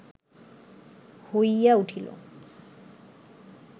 হইয়া উঠিল